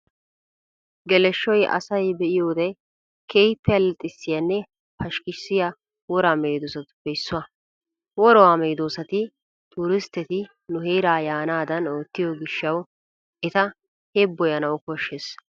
Geleshoy asay be'iyoode keehippe allaxxissiyaanne pashkkissiya woraa meedosatuppe issuwaa. Woraa medoosati turistteti nu heeraa yaanaadan oottiyo gishshawu eta heebboyanawu koshshees .